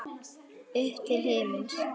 Upp til himins.